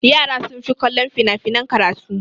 Yara sun fi kallon fina-finan karatu.